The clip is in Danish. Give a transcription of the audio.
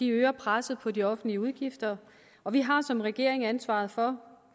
øger presset på de offentlige udgifter og vi har som regering ansvaret for